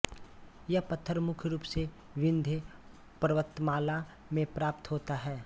यह पत्थर मुख्य रूप से विंध्य पर्वतमाला में प्राप्त होता है